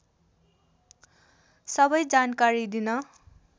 सबै जानकारी दिन